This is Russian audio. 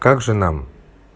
как же нам